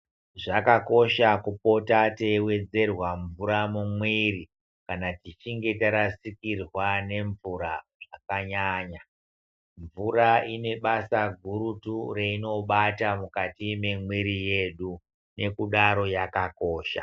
Zvakakosha kupota teiwedzerwa mvura mumwiri kana tichinge tarasikirwa nemvura zvakanyanya, mvura inebasa gurutu yainobata mukati memwiri yedu. Nekudaro yakakosha.